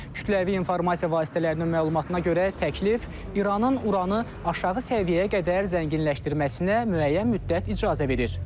Kütləvi informasiya vasitələrinin məlumatına görə təklif İranın Uranı aşağı səviyyəyə qədər zənginləşdirməsinə müəyyən müddət icazə verir.